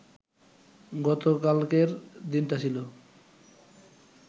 গতকালকের দিনটা ছিল